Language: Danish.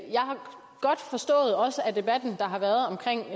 debatten der har været omkring